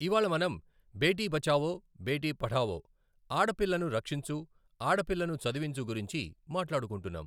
ఇవాళ మనం బేటీ బచావో బేటీ పఢావో, ఆడపిల్లను రక్షించు ఆడపిల్లను చదివించు గురించి మాట్లాడుకొంటున్నాం.